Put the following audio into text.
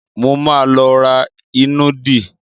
Mo ma lọ ra ìnùdí.